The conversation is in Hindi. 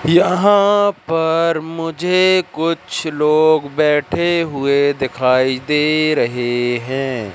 यहां पर मुझे कुछ लोग बैठे हुए दिखाई दे रहे हैं।